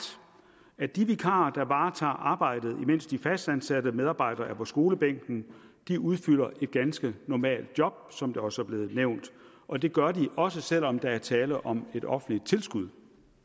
at de vikarer der varetager arbejdet imens de fastansatte medarbejdere er på skolebænken udfylder et ganske normalt job som det også er blevet nævnt og det gør de også selv om der er tale om et offentligt tilskud